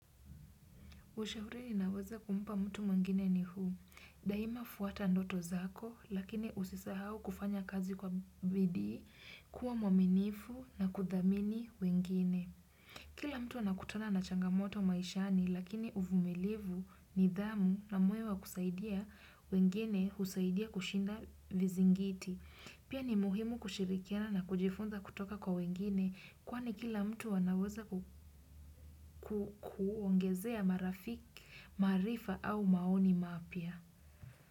Ushauri naweza kumpa mtu mwengine ni huu. Daima fuata ndoto zako, lakini usisahao kufanya kazi kwa bidii, kuwa mwaminifu na kuthamini wengine. Kila mtu ana kutana na changamoto maishani, lakini uvumilivu nidhamu na moyo wa kusaidia wengine husaidia kushinda vizingiti. Pia ni muhimu kushirikiana na kujifunza kutoka kwa wengine, kwani kila mtu anaweza kuongezea marafiki maarifa au maoni mapya.